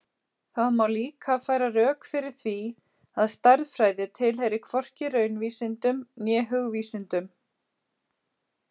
Það má líka færa rök fyrir því að stærðfræði tilheyri hvorki raunvísindum né hugvísindum.